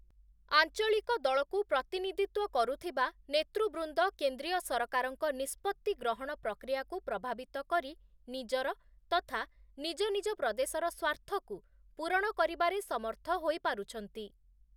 ଆଞ୍ଚଳିକ ଦଳକୁ ପ୍ରତିନିଧିତ୍ୱ କରୁଥିବା ନେତୃବୃନ୍ଦ କେନ୍ଦ୍ରୀୟ ସରକାରଙ୍କ ନିଷ୍ପତ୍ତି ଗ୍ରହଣ ପ୍ରକ୍ରିୟାକୁ ପ୍ରଭାବିତ କରି ନିଜର ତଥା ନିଜ ନିଜ ପ୍ରଦେଶର ସ୍ୱାର୍ଥକୁ ପୂରଣ କରିବାରେ ସମର୍ଥ ହୋଇପାରୁଛନ୍ତି ।